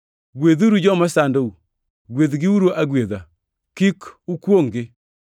Gwedhuru joma sandou; gwedhgiuru agwedha, kik ukwongʼ-gi.